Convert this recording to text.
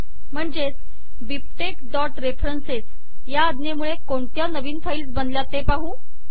म्हणजे bibtexरेफरन्स या अज्ञेमूळे कोणत्या नवीन फाईल्स बनल्यात ते पाहू